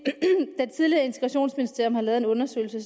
tidligere integrationsministerium har lavet en undersøgelse